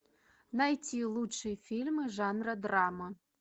найти лучшие фильмы жанра драма